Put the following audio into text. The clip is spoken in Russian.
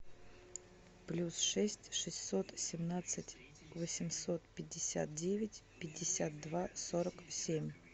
плюс шесть шестьсот семнадцать восемьсот пятьдесят девять пятьдесят два сорок семь